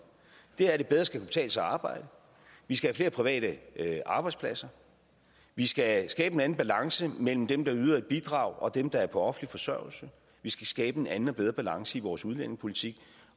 det er at det bedre skal kunne betale sig at arbejde vi skal have flere private arbejdspladser vi skal skabe en anden balance mellem dem der yder et bidrag og dem der er på offentlig forsørgelse vi skal skabe en anden og bedre balance i vores udlændingepolitik